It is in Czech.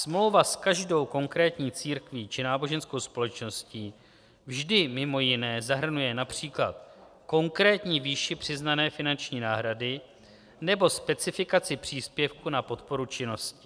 Smlouva s každou konkrétní církví či náboženskou společností vždy mimo jiné zahrnuje například konkrétní výši přiznané finanční náhrady nebo specifikaci příspěvku na podporu činnosti.